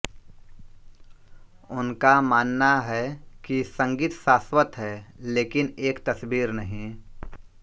उनका मानना है कि संगीत शाश्वत है लेकिन एक तस्वीर नहीं